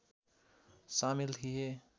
सामेल थिए